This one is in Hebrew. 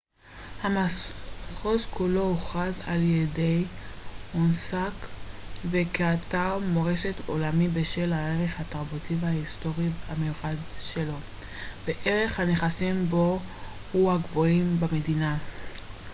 המחוז כולו הוכרז על-ידי אונסק ו כאתר מורשת עולמי בשל הערך התרבותי וההיסטורי המיוחד שלו וערך הנכסים בו הוא מהגבוהים במדינה